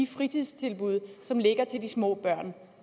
fritidstilbud som ligger til de små børn